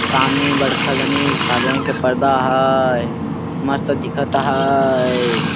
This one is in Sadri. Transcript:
सामने बड़खा जनी सादा रंग के पर्दा अहाए एकदम मस्त दिखत अहाए।